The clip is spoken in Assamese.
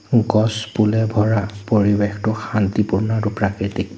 গছ পুলে ভৰা পৰিৱেশটো শান্তিপূৰ্ণ আৰু প্ৰাকৃতিক।